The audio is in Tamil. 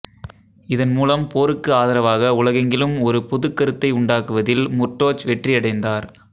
இதன் மூலம் போருக்கு ஆதரவாக உலகெங்கிலும் ஒரு பொதுக்கருத்தை உண்டாக்குவதில் முர்டோச் வெற்றியடைந்தார்